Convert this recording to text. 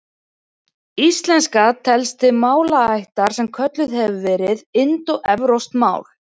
Íslenska telst til málaættar sem kölluð hefur verið indóevrópsk mál.